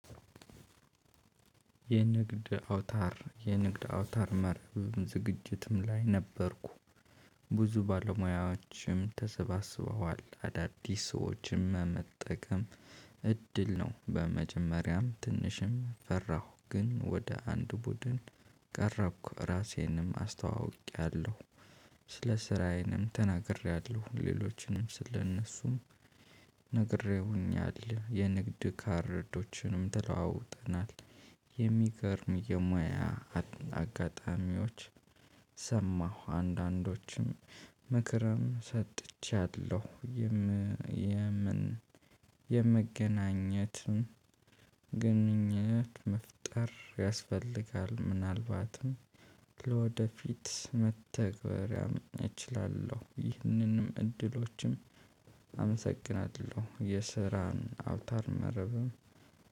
የንግድ አውታር የንግድ አውታር መረብም ዝግጅትም ላይ ነበርኩ። ብዙ ባለሙያዎችም ተሰባስበዋል አዳዲስ ሰዎችም መጠቀም እድል ነው። በመጀመሪያም ትንሽም ፈራሁ። ግን ወደ አንድ ቡድን ቀረብኩ ራሴንም አስተዋውቄያለሁ። ስለ ስራዬንም ተናግሬያለሁ ሌሎችንም ስለእነሱም ነግሬውኛል የንግድ ካርዶችንም ተለዋውጠናል። የሚገርም የሙያ አጋጣሚዎች ሰማሁ አንዳንዶችም ምክርም ሰጥቻለሁ። የምን የመገናኘትን ግንኙነት መፍጠር ያስፈልጋል። ምናልባትም ለወደፊት መተግበር ያመናኝ እችላለሁ። ይህንንም እድሎችም አመሰግናለሁ የስራን አውታር መረብም